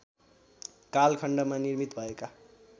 कालखण्डमा निर्मित भएका